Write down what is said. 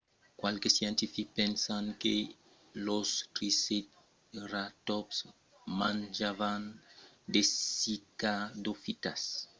qualques scientifics pensan que los triceratòps manjavan de cicadofitas que son una mena de plan qu'èra comuna durant lo cretacèu